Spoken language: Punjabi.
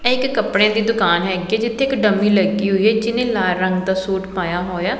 ਇਕ ਕੱਪੜੇ ਦੀ ਦੁਕਾਨ ਹੇਗੀ ਜਿੱਥੇ ਇੱਕ ਡਮੀ ਲੱਗੀ ਹੋਈ ਹੈ ਜਿਹਨੇ ਲਾਲ ਰੰਗ ਦਾ ਸੂਟ ਪਾਇਆ ਹੋਇਆ।